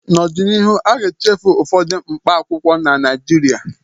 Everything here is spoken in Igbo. N'ọdịnihu, a ga-echefu ụfọdụ mkpaakwụkwọ na Naịjirịa